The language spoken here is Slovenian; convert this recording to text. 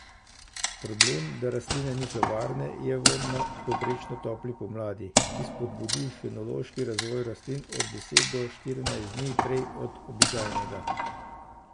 Problem, da rastline niso varne, je v nadpovprečno topli pomladi, ki spodbudi fenološki razvoj rastlin od deset do štirinajst dni prej od običajnega.